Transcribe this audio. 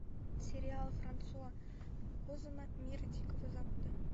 сериал франсуа озона мир дикого запада